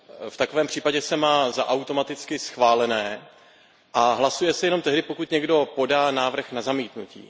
V takovém případě se má za automaticky schválené a hlasuje se jenom tehdy, pokud někdo podá návrh na zamítnutí.